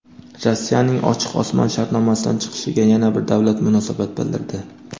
Rossiyaning Ochiq osmon shartnomasidan chiqishiga yana bir davlat munosabat bildirdi.